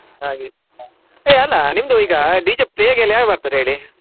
ಹಾಗೆ. ಹೇ ಅಲ್ಲಾ ನಿಮ್ಮದು ಈಗ DJ play ಗೆ ಎಲ್ಲ ಯಾರು ಬರ್ತಾರೆ ಹೇಳಿ.